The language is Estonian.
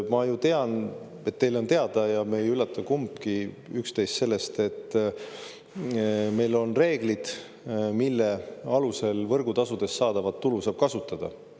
Ma ju tean, et teile on teada, ja me ei üllata kumbki üksteist sellega, et meil on reeglid, mille alusel võrgutasudest saadavat tulu saab kasutada.